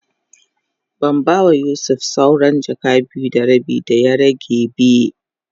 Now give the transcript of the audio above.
Ban ba ma Yusuf sawran jaka biyu da rabi da ya rage be.